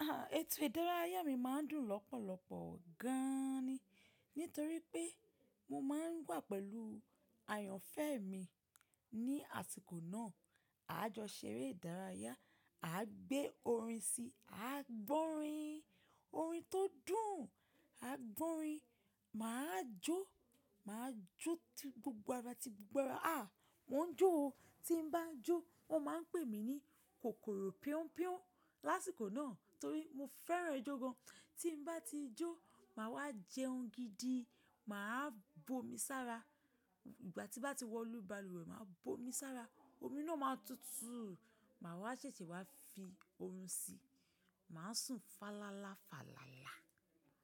Ètò ìdárayá mi máa ń dùn lọ́pọ̀lọpọ̀ gan ni nítorí pé mo máa ń wà pẹ̀lú àyànfẹ́ mi ní àsìkò náà. A jọ ṣeré ìdárayá, a gbé orin si, a gbọ́ orin, orin tó dùn, a gbọ́ orin. Mà á jó, mà á jó ti gbogbo ara ti gbogbo ara. Mò ń jó o. Tí n bá jó wọ́n máa ń pè mí ní kòkòrò píún píún lásìkò náà torí mo fẹ́ràn ijó gan. Tí n bá ti jó, màá wá jẹun gidi, màá bu omi sára. Ìgbà tí bá ti wọ̀lú balùwẹ̀, màá bu omi sára, omi náà máa tutù, màá wá ṣẹ̀ṣẹ̀ wá fi orun si, màá sùn fàlàlà fàlàlà.